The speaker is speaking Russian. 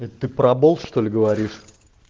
ты абол чтоль говоришь